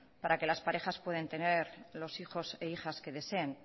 para que las parejas puedan tener los hijos e hijas que deseen